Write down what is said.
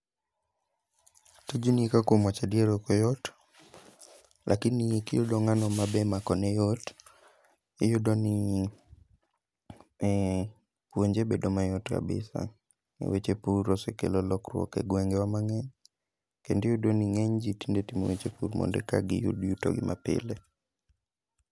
Tijni ka kuom wacha dier okoyot, lakini kiyudo ng'ano ma be makone yot, iyudo ni puonje bedo mayot kabisa. E weche pur osekelo lokruok e gwengewa mang'eny, kendiyudo ni ng'eny ji tinde timo weche pur monde ka giyud yuto gi ma pile.